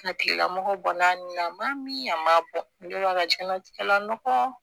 A tigila mɔgɔ banana ma min a ma jɛnlatigɛ la nɔgɔ